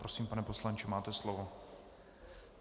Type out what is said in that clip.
Prosím, pane poslanče, máte slovo.